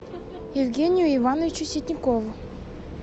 евгению ивановичу ситникову